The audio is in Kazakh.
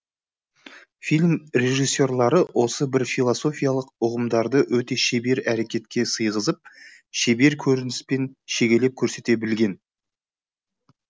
фильм режиссерлары осы бір философиялық ұғымдарды өте шебер әрекетке сыйғызып шебер көрініспен шегелеп көрсете білген